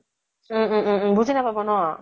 উম উম উম । বুজি নাপাব ন ?